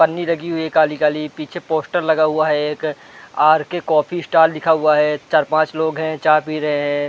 पन्नी लगी हुई है काली-काली पीछे पोस्टर लगा हुआ है एक आर_के कॉफी स्टार लिखा हुआ है चार पांच लोग हैं चाय पी रहे हैं।